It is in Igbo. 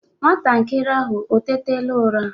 Nwantakịrị ahụ o tétala ụra?